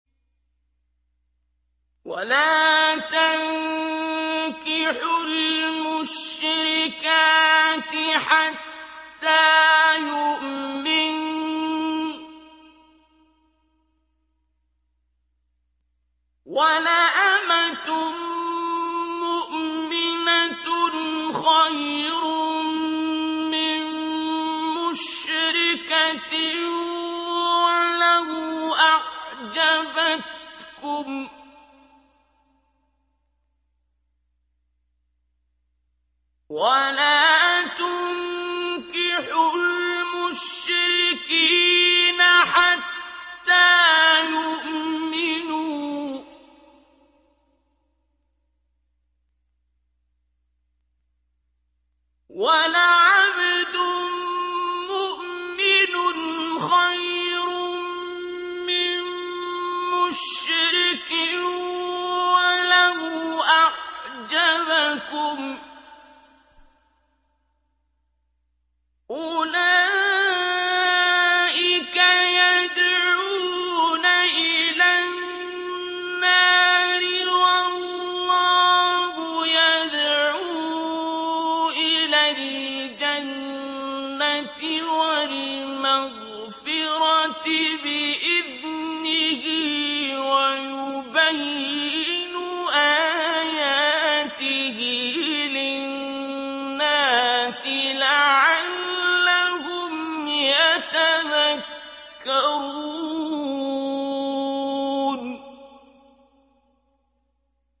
وَلَا تَنكِحُوا الْمُشْرِكَاتِ حَتَّىٰ يُؤْمِنَّ ۚ وَلَأَمَةٌ مُّؤْمِنَةٌ خَيْرٌ مِّن مُّشْرِكَةٍ وَلَوْ أَعْجَبَتْكُمْ ۗ وَلَا تُنكِحُوا الْمُشْرِكِينَ حَتَّىٰ يُؤْمِنُوا ۚ وَلَعَبْدٌ مُّؤْمِنٌ خَيْرٌ مِّن مُّشْرِكٍ وَلَوْ أَعْجَبَكُمْ ۗ أُولَٰئِكَ يَدْعُونَ إِلَى النَّارِ ۖ وَاللَّهُ يَدْعُو إِلَى الْجَنَّةِ وَالْمَغْفِرَةِ بِإِذْنِهِ ۖ وَيُبَيِّنُ آيَاتِهِ لِلنَّاسِ لَعَلَّهُمْ يَتَذَكَّرُونَ